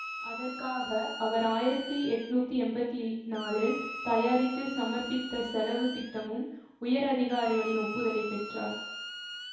அதற்காக அவர் ஆயிரத்தி எட்ணூத்தி எம்பத்தி நாலில் தயாரித்து சமர்ப்பித்த செலவு திட்டமும் உயர் அதிகாரிகளின் ஒப்புதலை பெற்றது